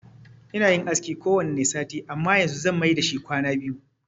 Ina yin aski kowanne sati amma yanzu zan mai dashi kwana biyu.